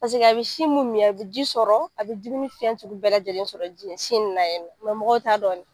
Paseke a be sin mun mi, a be ji sɔrɔ a be dumuni fɛn sugu bɛɛ lajɛlen sɔrɔ ji sin in na yen mɔgɔw t'a dɔn de.